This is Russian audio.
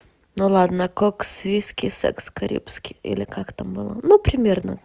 ну ладно кокс виски секс карибский или как там было например